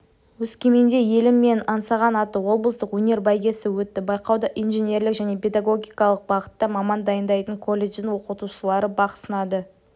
өскеменде елім менің аңсаған атты облыстық өнер бәйгесі өтті байқауда инженерлік және педагогикалық бағытта маман дайындайтын колледждің оқытушылары бақ сынады